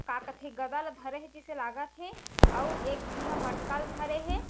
का कथे गदा ला धरे हे जिसे लागत हे अउ एक झी ह मटका ला धरे हे।